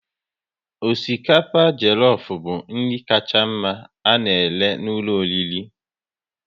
Osikapa jelofu bụ nri kacha mma a na-ere n'ụlọ oriri